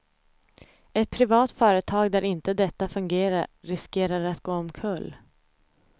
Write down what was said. Ett privat företag där inte detta fungerar riskerar att gå omkull.